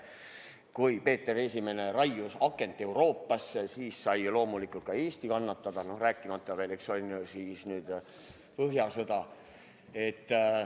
Kui Peeter I raius akent Euroopasse, siis sai loomulikult ka Eesti kannatada, rääkimata veel põhjasõjast.